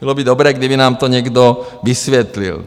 Bylo by dobré, kdyby nám to někdo vysvětlil.